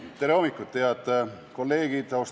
Tere hommikust, head kolleegid!